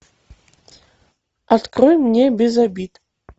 открой мне без обид